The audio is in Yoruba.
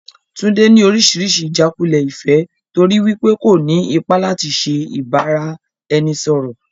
Tunde ni oríṣiríṣi ijàkulẹ̀ ìfẹ́ torí wípé kò ní ipa láti ṣe ìbáraẹnisọọ̀rọ̀.